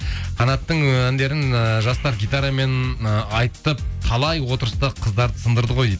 қанаттың і әндерін ііі жастар гитарамен ы айтып талай отырыста қыздарды сындырды ғой